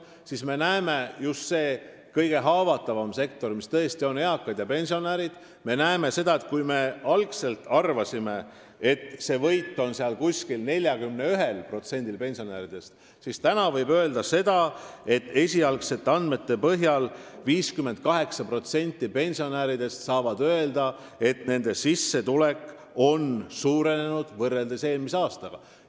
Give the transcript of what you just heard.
Kui me algselt arvasime, et just selles kõige haavatavamas sektoris võidab umbes 41% pensionäridest, siis täna võib öelda, et esialgsete andmete põhjal on 58%-l pensionäridest sissetulek suurenenud võrreldes eelmise aastaga.